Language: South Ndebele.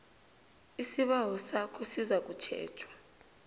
isibawo sakho sizakutjhejwa